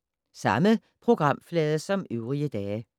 Samme programflade som øvrige dage